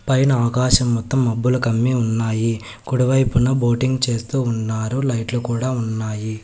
పైన ఆకాశం మొత్తం మబ్బులు కమ్మి ఉన్నాయి కుడివైపున బోటింగ్ చేస్తూ ఉన్నారు లైట్లు కూడా ఉన్నాయి.